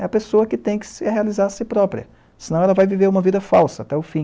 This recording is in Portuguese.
É a pessoa que tem que realizar a si própria, senão ela vai viver uma vida falsa até o fim.